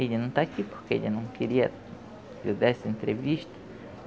Ele não está aqui porque ele não queria que eu desse a entrevista.